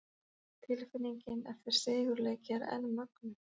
Tilfinningin eftir sigurleiki er enn mögnuð!